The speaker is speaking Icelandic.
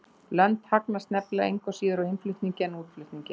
Lönd hagnast nefnilega engu síður á innflutningi en útflutningi.